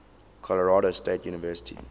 colorado state university